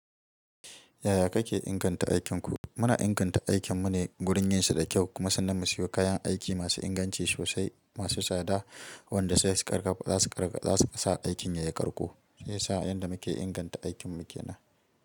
Yaya kake inganta aikinku? Muna inganta aikin mu ne gurin yin shi da kyau kuma sannan mu siyo kayan aiki masu inganci sosai, masu tsada, wanda sai su ƙarfafa za su ƙarƙa, za su sa aikin ya yi ƙarƙo. Sai sa yadda muke inganta aikin mu ke nan.